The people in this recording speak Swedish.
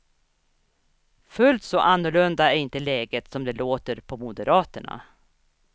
Fullt så annorlunda är inte läget som det låter på moderaterna.